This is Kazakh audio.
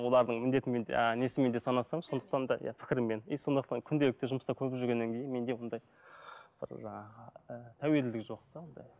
олардың міндетімен де а несімен де санасамын сондықтан да иә пікірмен и сондықтан күнделікті жұмыста көріп жүргеннен кейін менде ондай жаңағы і тәуелділік жоқ та ондай